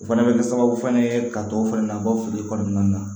O fana bɛ kɛ sababu fana ye ka dɔ fɛnɛ na an ka feere kɔnɔna na